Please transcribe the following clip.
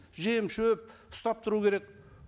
жем шөп ұстап тұру керек